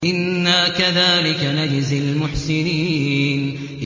إِنَّا كَذَٰلِكَ نَجْزِي الْمُحْسِنِينَ